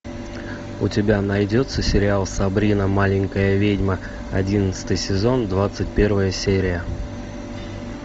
у тебя найдется сериал сабрина маленькая ведьма одиннадцатый сезон двадцать первая серия